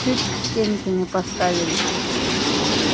чуть к стенке не поставили